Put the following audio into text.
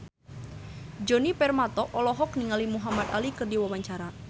Djoni Permato olohok ningali Muhamad Ali keur diwawancara